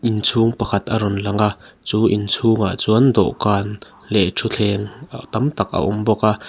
inchhung pakhat a rawn lang a chu inchhung ah chuan dawhkan leh ṭhutthleng tam tak a awm bawk a.